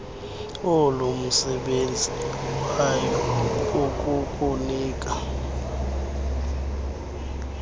olumsebenzi wayo ikukunika